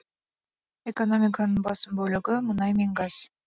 экономиканың басым бөлігі мұнай мен газ